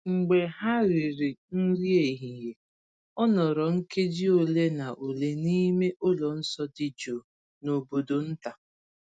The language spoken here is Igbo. Mgbe ha riri nri ehihie, o nọrọ nkeji ole na ole n’ime ụlọ nsọ dị jụụ n’obodo nta.